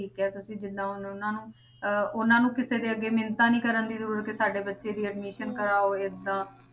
ਠੀਕ ਹੈ ਤੁਸੀਂ ਜਿੰਨਾ ਹੁਣ ਉਹਨਾਂ ਨੂੰ ਅਹ ਉਹਨਾਂ ਨੂੰ ਕਿਸੇ ਦੇ ਅੱਗੇ ਮਿੰਨਤਾਂ ਦੀ ਕਰਨ ਦੀ ਜ਼ਰੂਰਤ ਕਿ ਸਾਡੇ ਬੱਚੇ ਦੀ admission ਕਰਵਾਓ ਏਦਾਂ